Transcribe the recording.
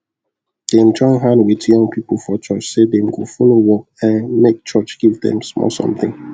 dem join hand with young people for church say them go follow work um make church give them small something